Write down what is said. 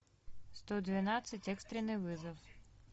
сто двенадцать экстренный вызов